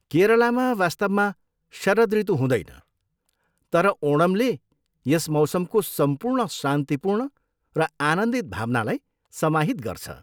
केरलामा वास्तवमा शरद ऋतु हुँदैन, तर ओणमले यस मौसमको सम्पूर्ण शान्तिपूर्ण र आनन्दित भावनालाई समाहित गर्छ।